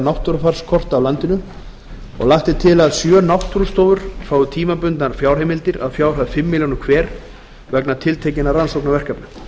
náttúrufarskorta af landinu og lagt er til að sjö náttúrustofur fái tímabundnar fjárheimildir að fjárhæð fimm komma núll milljónir króna hver vegna tiltekinna rannsóknarverkefna